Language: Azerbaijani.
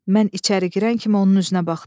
Mən içəri girən kimi onun üzünə baxdım.